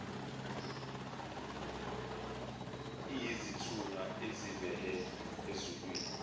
iyisithunywa esivela ezulwini